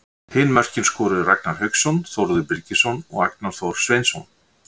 Hin mörkin skoruðu Ragnar Hauksson, Þórður Birgisson og Agnar Þór Sveinsson.